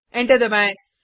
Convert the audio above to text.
enter दबाएँ